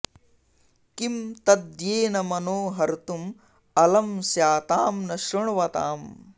किं तद्येन मनो हर्तुं अलं स्यातां न शृण्वतां